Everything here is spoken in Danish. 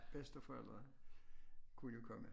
Bedsteforældre kunne jo komme